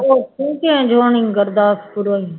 ਉੱਥੋਂ ਹੀ change ਹੋਣੀ ਗੁਰਦਾਸਪੁਰੋਂ ਹੀ